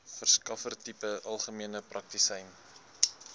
verskaffertipe algemene praktisyn